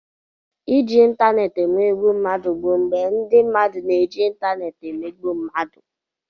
Iji ịntanetị emegbu mmadụ bụ mgbe ndị mmadụ na-eji ịntanetị emegbu mmadụ.